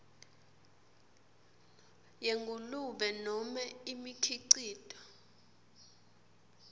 yengulube nobe imikhicito